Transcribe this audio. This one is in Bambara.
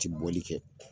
Ti bɔli kɛ